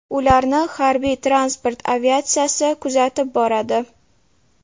Ularni Harbiy-transport aviatsiyasi kuzatib boradi.